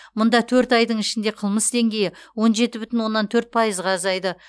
мұнда төрт айдың ішінде қылмыс деңгейі он жеті бүтін оннан төрт пайызға азайды